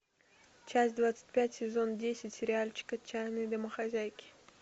часть двадцать пять сезон десять сериальчик отчаянные домохозяйки